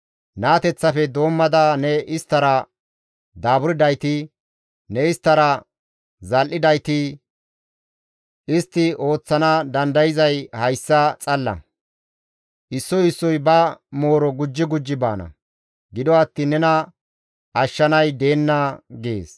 Naateththafe doommada ne isttara daaburdayti, ne isttara zal7idayti, istti ooththana dandayzay hayssa xalla; issoy issoy ba mooro gujji gujji baana; gido attiin nena ashshanay deenna» gees.